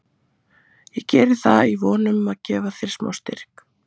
Ég geri það í von um að gefa þér smá styrk.